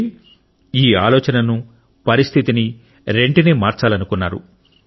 అయితే ఈ ఆలోచనను పరిస్థితిని రెండింటినీ మార్చాలనుకున్నారు